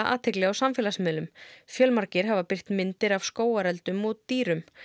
athygli á samfélagsmiðlum fjölmargir hafa birt myndir af skógareldum og dýrum